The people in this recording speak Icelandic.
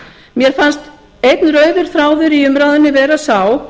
mér fannst einn rauður þráður í umræðunni vera sá